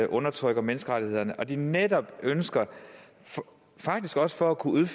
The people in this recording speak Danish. undertrykker menneskerettighederne og når de netop ønsker faktisk også for at kunne